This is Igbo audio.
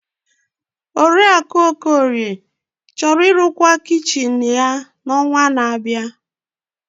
Oriakụ Okorie chọrọ ịrụkwa kichin ya n'ọnwa na-abịa.